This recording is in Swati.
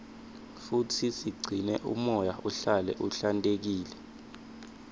futsi sigcine umoya uhlale uhlantekile